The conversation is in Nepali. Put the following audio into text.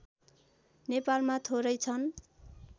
नेपालमा थोरै छन्